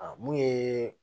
A mun ye